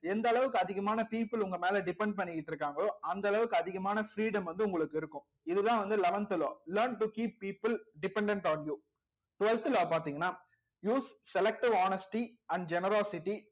எந்த அளவுக்கு அதிகமான people உங்க மேல depend பண்ணிட்டு இருக்காங்களோ அந்த அளவுக்கு அதிகமான freedom வந்து உங்களுக்கு இருக்கும் இதுதான் வந்து eleventh law learn to keep people dependent on you twelfth law பார்த்தீங்கன்னா use selective honesty and generosity